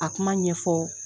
A kuma ɲɛfɔ